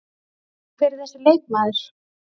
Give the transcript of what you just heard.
En hver er þessi leikmaður?